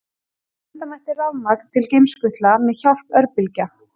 Senda mætti rafmagn til geimskutla með hjálp örbylgja.